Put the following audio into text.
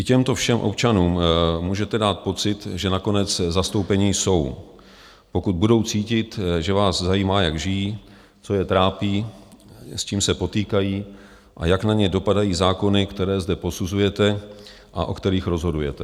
I těmto všem občanům můžete dát pocit, že nakonec zastoupeni jsou, pokud budou cítit, že vás zajímá, jak žijí, co je trápí, s čím se potýkají a jak na ně dopadají zákony, které zde posuzujete a o kterých rozhodujete.